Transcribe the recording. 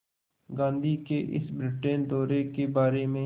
गांधी के इस ब्रिटेन दौरे के बारे में